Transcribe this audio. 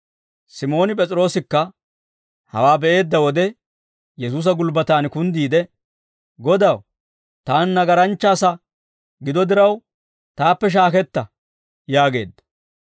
Simooni P'es'iroosikka hawaa be'eedda wode Yesuusa gulbbatan kunddiide, «Godaw, taani nagaranchcha asaa gido diraw taappe shaaketta» yaageedda.